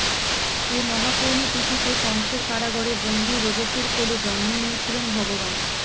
এ মহাপূর্ণ তিথিতে কংসের কারাগারে বন্দি দেবকীর কোলে জন্ম নিয়েছিলেন ভগবান